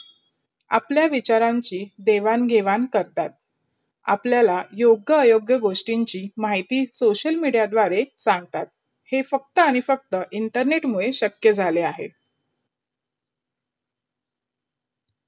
आपला विचारांची देवन- घेवाण करतात. आपल्याला योग्य अयोग्य गोष्टीची माहिती social media दावरे सडतात. हे फालत अफाटकट internet मुडे झाला अहेत.